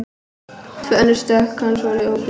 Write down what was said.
Tvö önnur stökk hans voru ógild